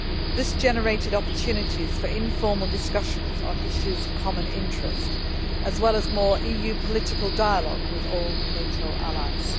This generated opportunities for informal discussions on issues of common interest, as well as more EU political dialogue with all NATO allies.